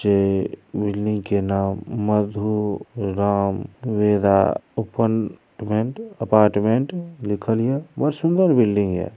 जे बिल्डिंग के नाम Madhu Ram Veda apartment apartment लिखल हिए बहुत सुंदर बिल्डिंग हिए।